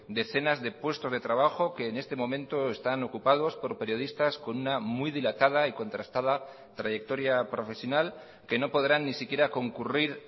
decenas de puestos de trabajo que en este momento están ocupados por periodistas con una muy dilatada y contrastada trayectoria profesional que no podrán ni siquiera concurrir